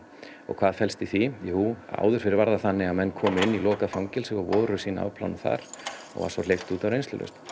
og hvað felst í því jú áður fyrr var það þannig að menn komu inn í lokuð fangelsi og voru sína afplánun þar og var svo hleypt út á reynslulausn